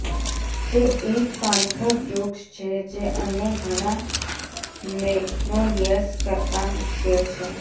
તે એક પાનખર વૃક્ષ છે જે અન્ય ઘણા મેગ્નોલિયસ કરતાં મુશ્કેલ છે